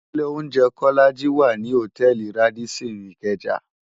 Ilé óunjè Kólàjí wá ni hótèlí Rádìsín Ikeja